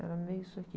Era meio isso aqui.